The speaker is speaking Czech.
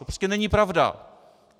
To prostě není pravda.